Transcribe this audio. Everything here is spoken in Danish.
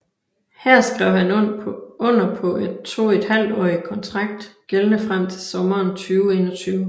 Her skrev han under på en toethalvtårig konntrakt gældende frem til sommeren 2021